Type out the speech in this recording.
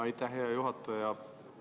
Aitäh, hea juhataja!